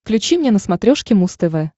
включи мне на смотрешке муз тв